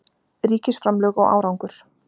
Ríkisframlög og árangur